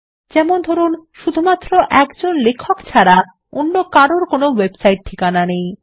যেমন ধরুন শুধুমাত্র একজন লেখক ছাড়া অন্য কারুর কোনো ওয়েবসাইট ঠিকানা নেই